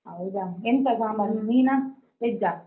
ಹೌದಾ ಎಂತ ಸಾಂಬಾರು ಮೀನಾ veg ಆ.